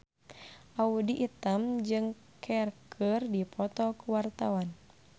Audy Item jeung Cher keur dipoto ku wartawan